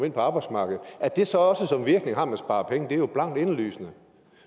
ind på arbejdsmarkedet at det så også som virkning har at man sparer penge er jo blankt indlysende